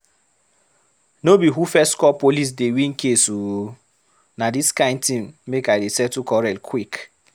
No be who first call police dey win case o! Na dis kind thing make I dey settle quarrel quick.